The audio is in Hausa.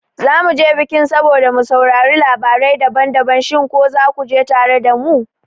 zamu je bikin saboda mu saurari labarai daban-daban, shin ko zaku je tare da mu?